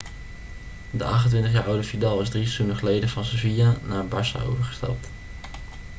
de 28-jaar oude vidal is drie seizoenen geleden van sevilla naar barça overgestapt